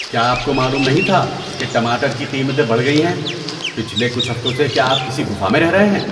کیا آپ کو معلوم نہیں تھا کہ ٹماٹر کی قیمتیں بڑھ گئی ہیں؟ پچھلے کچھ ہفتوں سے کیا آپ کسی گُفا میں رہ رہے ہیں؟